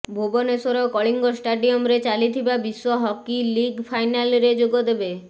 ଭୁବନେଶ୍ୱର କଳିଙ୍ଗ ଷ୍ଟାଡିୟମ୍ରେ ଚାଲିଥିବା ବିଶ୍ୱ ହକି ଲିଗ୍ ଫାଇନାଲରେ ଯୋଗଦେବେ